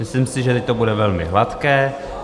Myslím si, že teď to bude velmi hladké.